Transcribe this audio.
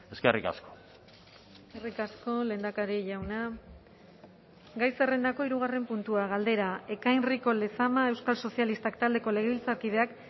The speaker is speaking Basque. eskerrik asko eskerrik asko lehendakari jauna gai zerrendako hirugarren puntua galdera ekain rico lezama euskal sozialistak taldeko legebiltzarkideak